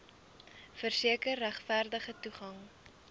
verseker regverdige toegang